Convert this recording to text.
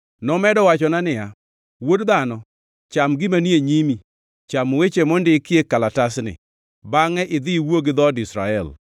Nomedo wachona niya, “Wuod dhano, cham gima ni e nyimi, cham weche mondikie kalatasni, bangʼe idhi iwuo gi dhood Israel.”